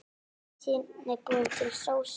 Síðan er búin til sósa.